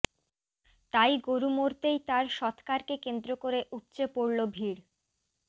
তাই গরু মরতেই তার সৎকারকে কেন্দ্র করে উপচে পড়ল ভিড়